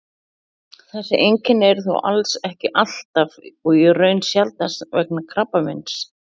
þessi einkenni eru þó alls ekki alltaf og í raun sjaldnast vegna krabbameins